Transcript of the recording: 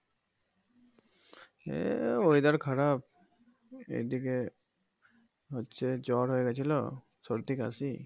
এই weather খারাপ এইদিকে হচ্ছে জ্বর হয়ে গিয়েছিল সর্দি কাশি